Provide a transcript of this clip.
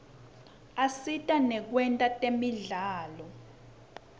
asita nakwetemidlalo